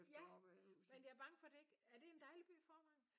Ja men jeg er bange for det ikke er det en dejlig by Vorrevangen?